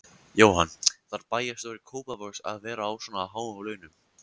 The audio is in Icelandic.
Jóhann: Þarf bæjarstjóri Kópavogs að vera á svona háum launum?